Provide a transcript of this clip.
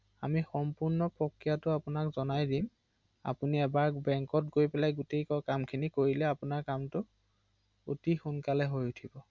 অ অ